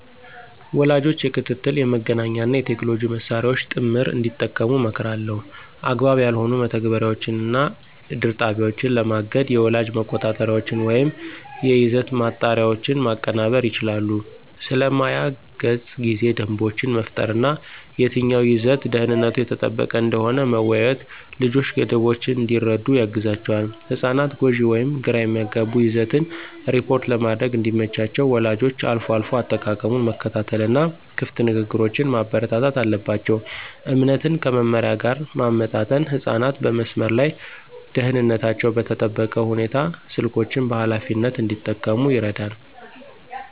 ወላጆች የክትትል፣ የመገናኛ እና የቴክኖሎጂ መሳሪያዎችን ጥምር እንዲጠቀሙ እመክራለሁ። አግባብ ያልሆኑ መተግበሪያዎችን እና ድር ጣቢያዎችን ለማገድ የወላጅ መቆጣጠሪያዎችን ወይም የይዘት ማጣሪያዎችን ማቀናበር ይችላሉ። ስለ ማያ ገጽ ጊዜ ደንቦችን መፍጠር እና የትኛው ይዘት ደህንነቱ የተጠበቀ እንደሆነ መወያየት ልጆች ገደቦችን እንዲረዱ ያግዛቸዋል። ህጻናት ጎጂ ወይም ግራ የሚያጋባ ይዘትን ሪፖርት ለማድረግ እንዲመቻቸው ወላጆች አልፎ አልፎ አጠቃቀሙን መከታተል እና ክፍት ንግግሮችን ማበረታታት አለባቸው። እምነትን ከመመሪያ ጋር ማመጣጠን ህጻናት በመስመር ላይ ደህንነታቸው በተጠበቀ ሁኔታ ስልኮችን በኃላፊነት እንዲጠቀሙ ይረዳል።